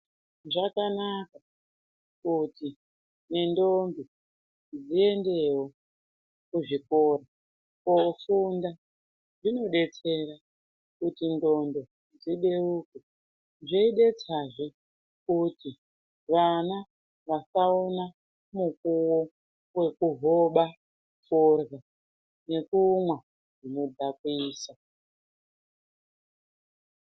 Zvakanaka kuti nendombi dziendewo kuzvikora kofunda zvinodetsera kuti ndxondo dzibeuke zveidetsazve kuti vana vasaona mukuwo wekuhoba forya nekumwa zvinodhakwisa.